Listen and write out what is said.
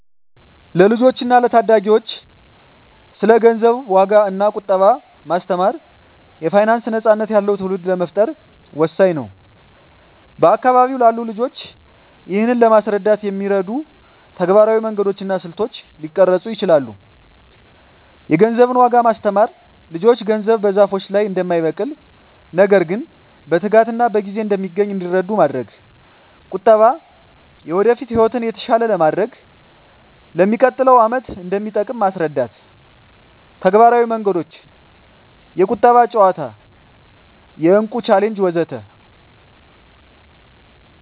ለልጆች እና ለታዳጊዎች ስለ ገንዘብ ዋጋ እና ቁጠባ ማስተማር የፋይናንስ ነፃነት ያለው ትውልድ ለመፍጠር ወሳኝ ነው። በአካባቢው ላሉ ልጆች ይህንን ለማስረዳት የሚረዱ ተግባራዊ መንገዶች እና ስልቶች ሊቀረጹ ይችላሉ -የገንዘብን ዋጋ ማስተማር ልጆች ገንዘብ በዛፎች ላይ እንደማይበቅል፣ ነገር ግን በትጋትና በጊዜ እንደሚገኝ እንዲረዱ ማድረግ። -ቁጠባ የወደፊት ህይወትን የተሻለ ለማድረግ፣ ለሚቀጥለው ዓመት እንደሚጠቅም ማስረዳት። -ተግባራዊ መንገዶች -የቁጠባ ጨዋታ -የእቁብ ቻሌንጅ ወዘተ